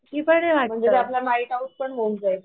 म्हणजे तो आपला नाईट आउट पण होऊन जाईल